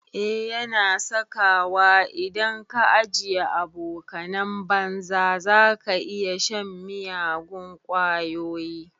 Eh yana saka wa, idan ka ajiye abokanan banza zaka iya shan miyagun ƙwayoyi